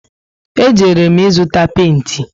E jere m ịzụta penti